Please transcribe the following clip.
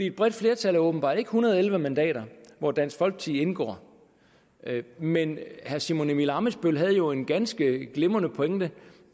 et bredt flertal er åbenbart ikke en hundrede og elleve mandater hvor dansk folkeparti indgår men herre simon emil ammitzbøll havde jo en ganske glimrende pointe